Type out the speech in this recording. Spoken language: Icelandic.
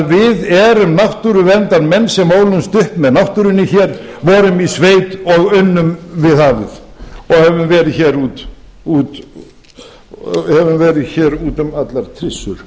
við erum náttúruverndarmenn sem ólumst upp með náttúrunni hér vorum í sveit og unnum við hafið og höfum verið hér út um allar trissur